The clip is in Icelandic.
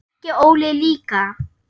Ekki Óli líka.